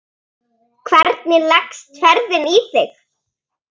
Hvernig leggst ferðin í þig?